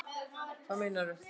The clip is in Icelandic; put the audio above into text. Hvað meinaru